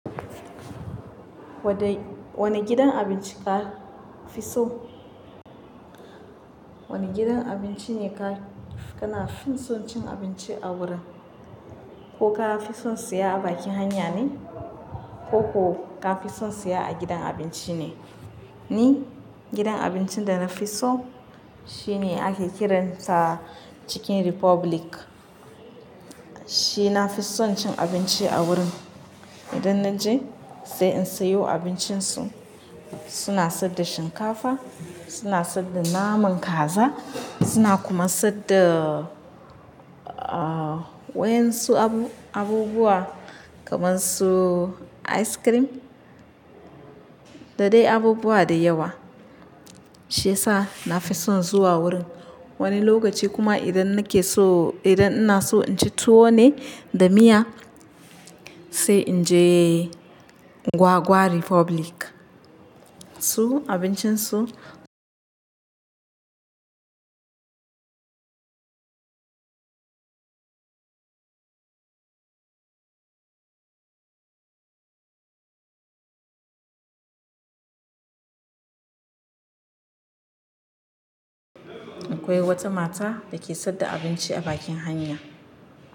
Kodai wane gidan abinci ka fi so? Wane gidan abinci ne ka, kana fi son cin abinci a wurin? Ko ka fi son siya a bakin hanya ne? Ko ko ka fi son siya a gidan abinci ne? Ni gidan abincin da na fi so shine ake kiransa Chicken Republic. Shi na fi son cin abinci a wurin. Idan na je sai in sayo abincin su. Suna saida shinkafa, suna saida naman kaza, suna kuma saida, ah, wayan su abu-abubuwa kamar su ice cream dadai abubuwa da yawa. Shi yasa na fi son zuwa wurin. Wani lokaci kuma idan nake so, idan ina so in ci tuwo ne da miya sai inje Gwagwa Republic. Su abincin su akwai wata mata da ke saida abinci a bakin hanya.